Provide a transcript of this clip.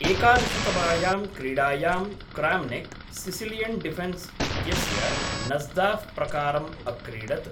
एकादशतमायां क्रीडायां, Kramnik, Sicilian Defence इत्यस्य Najdorf प्रकारम् अक्रीडत्।